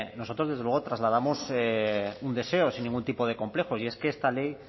nosotros desde luego trasladamos un deseo sin ningún tipo de complejos y es que esta ley